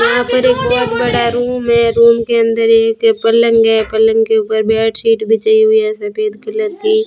यहां पर एक बहुत बड़ा रूम है रूम के अंदर एक पलंग है पलंग के ऊपर बेडशीट बिछाई हुई है सफेद कलर की।